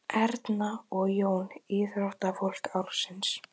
Fitulifur er sjúklegt ástand sem þó gengur til baka ef hætt er að drekka.